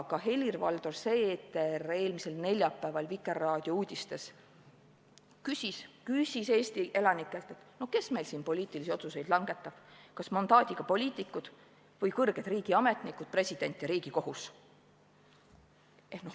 Ka Helir-Valdor Seeder eelmisel neljapäeval Vikerraadio uudistes küsis Eesti elanikelt, et no kes meil siin poliitilisi otsuseid langetab, kas mandaadiga poliitikud või kõrged riigiametnikud, president ja Riigikohus.